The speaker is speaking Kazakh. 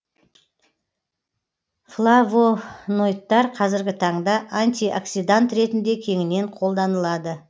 флавоноидтар қазіргі таңда антиоксидант ретінде кеңінен қолданылады